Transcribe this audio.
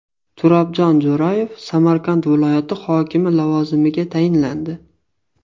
Turobjon Jo‘rayev Samarqand viloyati hokimi lavozimiga tayinlandi .